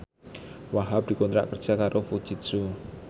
Wahhab dikontrak kerja karo Fujitsu